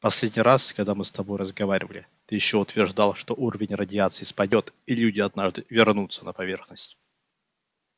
в последний раз когда мы с тобой разговаривали ты ещё утверждал что уровень радиации спадёт и люди однажды вернутся на поверхность